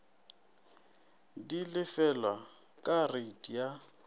di lefelwa ka reiti ya